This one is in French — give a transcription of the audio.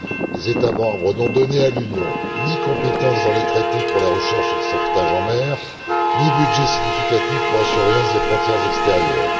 Les États membres n'ont donné à l'Union ni compétence dans les traités pour la recherche et le sauvetage en mer, ni budget significatif pour la surveillance des frontières extérieures.